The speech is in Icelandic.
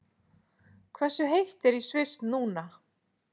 Hversu heitt er í Sviss núna?